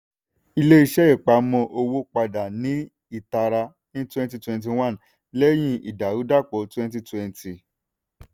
ilé-iṣẹ́ ìpamọ́ owó padà ní ìtara ní twenty twenty one lẹ́yìn ìdàrúdàpọ̀ twenty twenty.